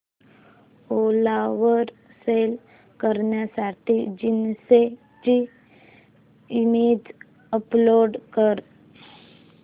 ओला वर सेल करण्यासाठी जीन्स ची इमेज अपलोड कर